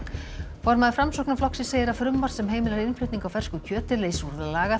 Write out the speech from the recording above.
formaður Framsóknarflokksins segir að frumvarp sem heimilar innflutning á fersku kjöti leysi úr